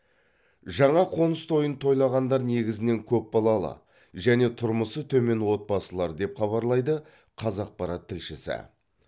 жаңа қоңыс тойын тойлағандар негізінен көпбалалы және тұрмысы төмен отбасылар деп хабарлайды қазақпарат тілшісі